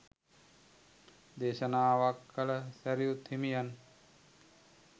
දේශනාවක් කල සැරියුත් හිමියන්